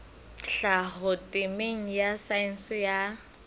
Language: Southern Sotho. tlhaho temeng ya saense ya